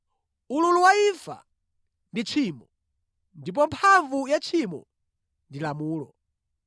Ululu wa imfa ndi tchimo, ndipo mphamvu ya tchimo ndi lamulo.